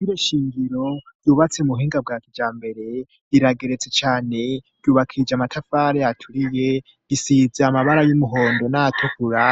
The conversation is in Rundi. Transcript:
Ishure shingiro yubatse mu buhinga bwa kijambere rirageretse cane ryubakije amatafari aturiye risize amabara y'umuhondo n'ayatukura,